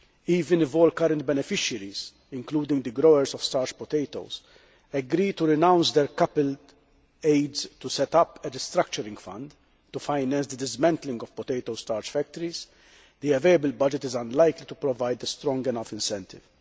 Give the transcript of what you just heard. Even if all current beneficiaries, including the growers of starch potatoes, agreed to renounce their coupled aids to set up a restructuring fund to finance the dismantling of potato starch factories, the available budget would be unlikely to provide a strong enough incentive.